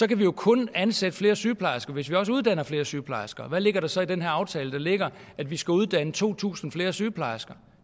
kan vi jo kun ansætte flere sygeplejersker hvis vi også uddanner flere sygeplejersker og hvad ligger der så i den her aftale der ligger i at vi skal uddanne to tusind flere sygeplejersker